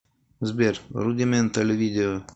сбер рудиментал видео